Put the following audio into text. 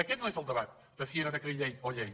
aquest no és el debat de si era decret llei o llei